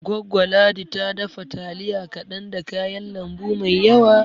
Goggo Ladi ta dafa taliya kaɗan da kayan lambu mai yawa